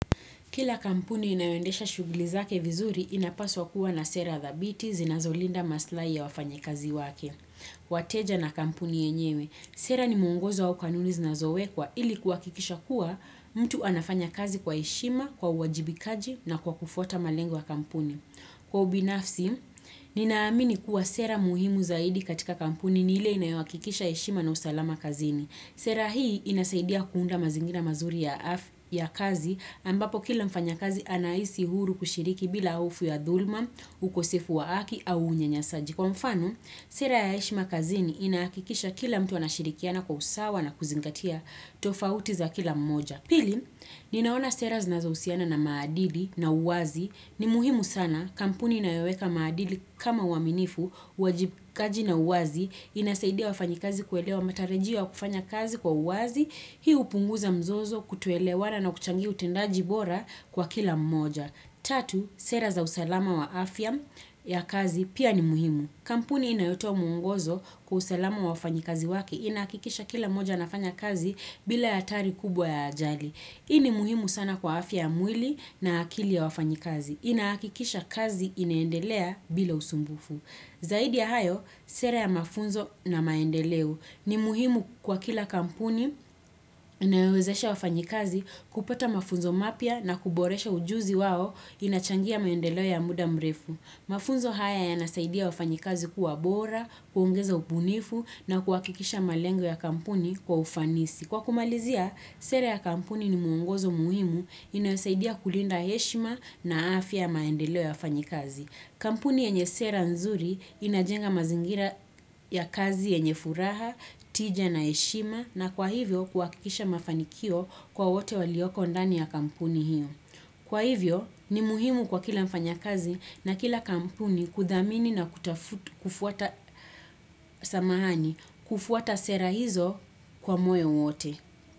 Kila kampuni inayoendesha shughuli zake vizuri inapaswa kuwa na sera dhabiti zinazolinda maslahi ya wafanyikazi wake. Wateja na kampuni yenyewe. Sera ni mwongozo au kanuni zinazowekwa ili kuhakikisha kuwa mtu anafanya kazi kwa heshima, kwa uwajibikaji na kwa kufuata malengo ya kampuni. Kwa ubinafsi, ninaamini kuwa sera muhimu zaidi katika kampuni ni ile inayohakikisha heshima na usalama kazini. Sera hii inasaidia kuunda mazingira mazuri ya kazi ambapo kila mfanyakazi anahisi huru kushiriki bila hofu ya dhuluma, ukosefu wa haki au unyanyasaji. Kwa mfano, sera ya heshima kazini inahakikisha kila mtu anashirikiana kwa usawa na kuzingatia tofauti za kila mmoja. Pili, ninaona sera zinazohusiana na maadili na uwazi. Ni muhimu sana. Kampuni inayoweka maadili kama uaminifu, uwajibkaji na uwazi, inasaidia wafanyikazi kuelewa matarajio ya kufanya kazi kwa uwazi. Hii hupunguza mzozo, kutoelewana na kuchangia utendaji bora kwa kila mmoja. Tatu, sera za usalama wa afya ya kazi pia ni muhimu. Kampuni inayotoa mwongozo kwa usalama wa wafanyikazi wake. Inahakikisha kila mmoja anafanya kazi bila hatari kubwa ya ajali. Hii ni muhimu sana kwa afya ya mwili na akili ya wafanyikazi. Inahakikisha kazi inaendelea bila usumbufu. Zaidi ya hayo, sera ya mafunzo na maendeleo ni muhimu kwa kila kampuni inayowezesha wafanyikazi kupata mafunzo mapya na kuboresha ujuzi wao inachangia maendeleo ya muda mrefu. Mafunzo haya yanasaidia wafanyikazi kuwa bora, kuongeza ubunifu na kuhakikisha malengo ya kampuni kwa ufanisi. Kwa kumalizia, sera ya kampuni ni mwongozo muhimu inayosaidia kulinda heshima na afya ya maendeleo ya wafanyikazi. Kampuni yenye sera nzuri inajenga mazingira ya kazi yenye furaha, tija na heshima na kwa hivyo kuhakikisha mafanikio kwa wote walioko ndani ya kampuni hiyo. Kwa hivyo ni muhimu kwa kila mfanyakazi na kila kampuni kuthamini na kufuata samahani, kufuata sera hizo kwa moyo wote.